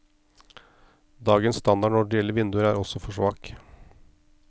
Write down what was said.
Dagens standard når det gjelder vinduer, er også for svak.